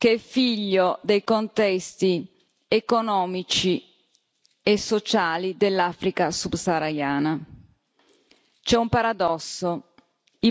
fenomeno strutturale che è figlio dei contesti economici e sociali dell'Africa subsahariana.